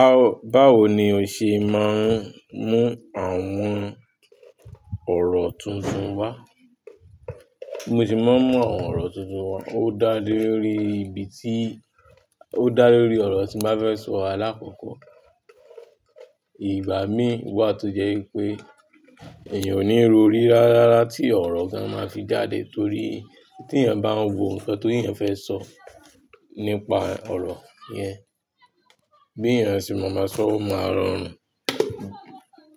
A bawo ni o ṣe máa ń mú àwọn ọ̀rọ̀ tuntun wá? Bi mo se máa ń mú àwọn ọ̀rọ̀ tuntun wá. Ó dá lé lórí ibi tí, ó dá lé lórí ọ̀rọ̀ tí mo fẹ́ sọ alákọ̀ọ́kọ́. Ìgbá mi wà tó jẹ́ pé èèyàn ò ní ro rí rárá tí ọ̀rọ̀ gan máa fi jáde torí tí èèyàn bá ń wo nǹkan tó èèyàn fẹ́ sọ nípa ọ̀rọ̀ yẹn, bí èèyàn ṣe máa ma sọ, ó máa rọrùn,